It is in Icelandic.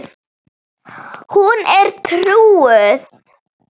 Hún er trúuð.